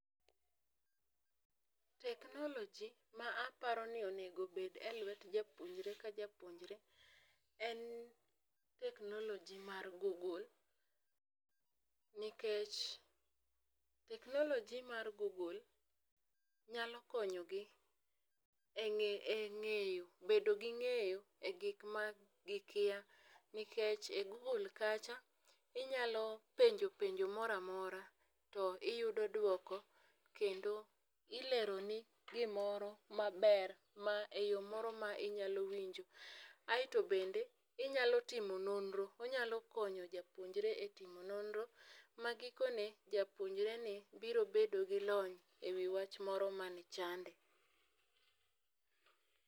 Technology ma aparo ni onego bed e lwet japuonjre ka japuonjre en technology mar google nikech technology mar google nyalo konyo gi e bedo ging'eyo e gik ma gikia nikech e google kacha, inyalo penjo penjo moramora to iyudo duoko kendo ilero ni gimoro maber ma eyo moro ma inyalo winjo. Aeto bende inyalo timo nonro onyalo konyo japuonjre e timo nonro ma giko ne japuonjre ni biro bedo gi lony ewi wach moro mane chande.